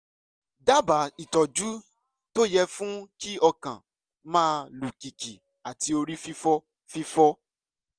dábàá ìtọ́jú tó yẹ fún kí ọkàn máa lù kìkì àti orí fífọ́ fífọ́